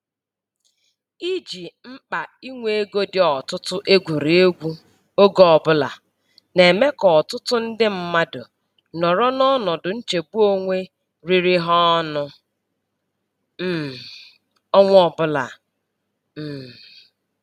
Iji mkpa inwe ego dị ọtụtụ egwurị egwu oge ọbụla na-eme ka ọtụtụ ndị mmadụ nọrọ n'ọnọdụ nchegbu onwe riri ha ọnụ um ọnwa ọbụla. um